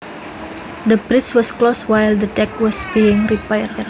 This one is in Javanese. The bridge was closed while the deck was being repaired